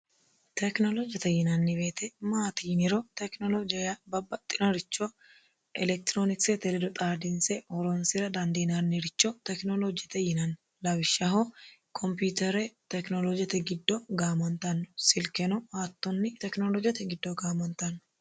tekinoloojete yinanni woyite maati yiniro tekinoloojea babbaxxinoricho elektiroonikisete ledo xaadinse horonsira dandiinanniricho tekinoloojete yinanni lawishshaho kompyutere tekinoloojete giddo gaamantanno silkeno httonni tekinoloojeyete giddo gaamantanno